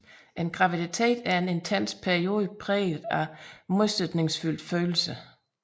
Graviditeten en intens periode præget af modsætningsfyldte følelser